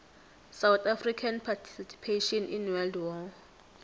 south african participation in world war